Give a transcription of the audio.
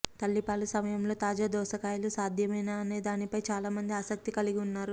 తల్లిపాలు సమయంలో తాజా దోసకాయలు సాధ్యమేనా అనే దానిపై చాలా మంది ఆసక్తి కలిగి ఉన్నారు